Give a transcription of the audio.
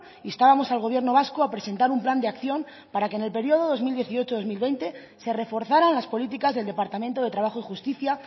instábamos al gobierno vasco a presentar un plan de acción para que en el periodo dos mil dieciocho dos mil veinte se reforzaran las políticas del departamento de trabajo y justicia